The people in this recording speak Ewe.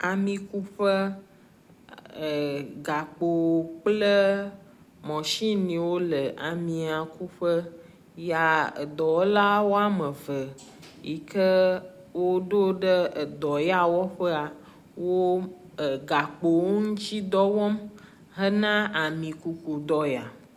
Amikuƒe, er gakpo kple mashiniwo le amiakuƒe ya dɔwɔla wome eve yi ke woɖo ɖe ɖɔ ya wɔƒea wo gakpowo ŋuti dɔ wɔm hena amikuku dɔ ya.